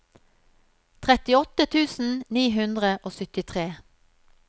trettiåtte tusen ni hundre og syttitre